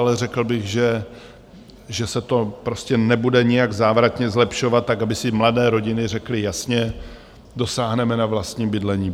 Ale řekl bych, že se to prostě nebude nijak závratně zlepšovat, tak aby si mladé rodiny řekly jasně, dosáhneme na vlastní bydlení.